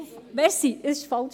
Nein, das war falsch: